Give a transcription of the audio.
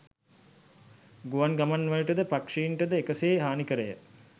ගුවන් ගමන්වලට ද පක්ෂීන්ට ද එක සේ හානිකර ය.